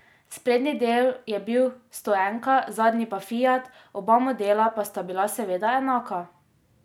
Sprednji del je bil stoenka, zadnji pa fiat, oba modela pa sta bila seveda enaka.